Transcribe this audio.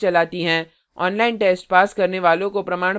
उनको प्रमाणपत्र भी देते हैं जो online test pass करते हैं